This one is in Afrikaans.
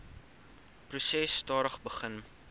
proses stadig begin